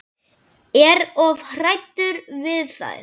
Er of hræddur við þær.